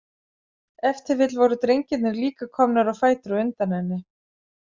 Ef til vill voru drengirnir líka komnir á fætur á undan henni.